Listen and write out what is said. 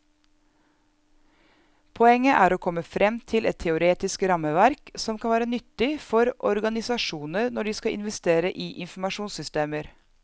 Poenget er å komme frem til et teoretisk rammeverk som kan være nyttig for organisasjoner når de skal investere i informasjonssystemer.